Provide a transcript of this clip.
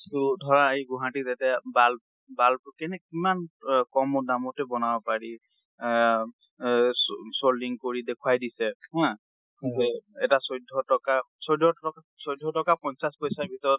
ট ধৰা এই গুৱাহাটীত এতিয়া bulb~ bulb কেনেকে কিমান কম দামতে বনাব পাৰি। এ ও সোল্দিনং কৰি দেখুয়াই দিছে হা, যে এটা চৈধ্য টকা, চৈধ্য টকা~চৈধ্য টকা পঞ্চাশ্চ পইচা ভিতৰত